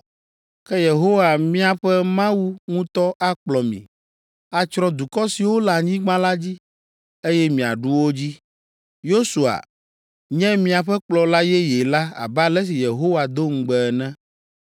Ke Yehowa miaƒe Mawu ŋutɔ akplɔ mi, atsrɔ̃ dukɔ siwo le anyigba la dzi, eye miaɖu wo dzi. Yosua nye miaƒe kplɔla yeye la abe ale si Yehowa do ŋugbe ene.